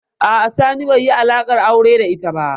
A'a, Sani bai yi alaƙar aure da ita ba.